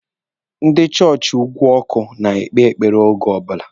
Ndị chọọchị ugwu ọkụ na-ekpe ekpere oge ọbụla.